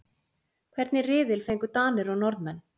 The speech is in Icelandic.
Hvernig riðil fengu Danir og Norðmenn?